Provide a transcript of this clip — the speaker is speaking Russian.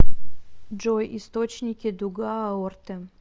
джой источники дуга аорты